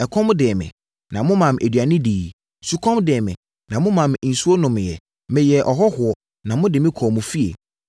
Ɛkɔm dee me, na momaa me aduane diiɛ. Sukɔm dee me, na momaa me nsuo nomeeɛ. Meyɛɛ ɔhɔhoɔ, na mode me kɔɔ mo fie.